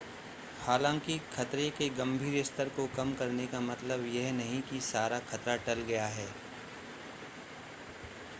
हालांकि खतरे के गंभीर स्तर को कम करने का मतलब यह नहीं है कि सारा खतरा टल गया है